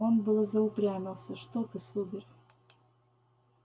он было заупрямился что ты сударь